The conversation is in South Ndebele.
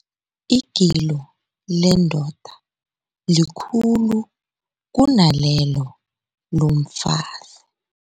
Igilo lendoda likhulu kunalelo lomfazi.